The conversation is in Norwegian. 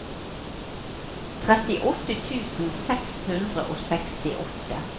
trettiåtte tusen seks hundre og sekstiåtte